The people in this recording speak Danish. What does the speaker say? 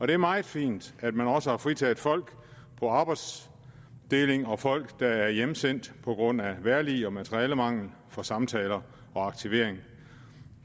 det er meget fint at man også har fritaget folk på arbejdsdeling og folk der er hjemsendt på grund af vejrlig eller materialemangel for samtaler og aktivering